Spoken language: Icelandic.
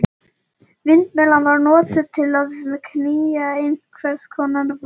Vindmyllan var notuð til að knýja einhvers konar vatnsorgel.